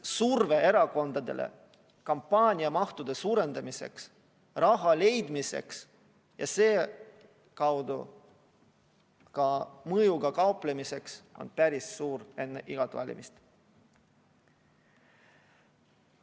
Surve erakondadele kampaaniamahtude suurendamiseks, raha leidmiseks ja selle kaudu ka mõjuga kauplemiseks on päris suur enne igat valimist.